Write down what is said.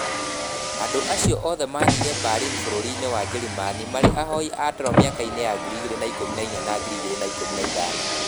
Andũ acio othe maathire Berlin bũrũri-inĩ wa Njĩrĩmani marĩ ahoi toro mĩaka-inĩ ya 2014 na 2015.